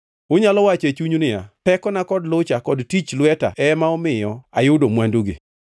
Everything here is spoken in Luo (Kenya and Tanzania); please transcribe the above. Unyalo wacho e chunyu niya, “Tekona kod lucha kod tich lweta ema omiyo ayudo mwandugi.”